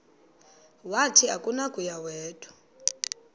wathi akunakuya wedw